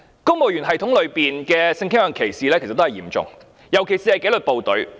公務員系統內的性傾向歧視，其實很嚴重，尤其是在紀律部隊。